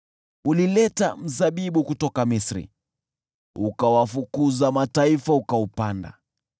Ulileta mzabibu kutoka Misri, ukawafukuza mataifa, ukaupanda.